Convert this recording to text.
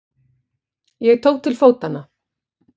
Ég tók til fótanna.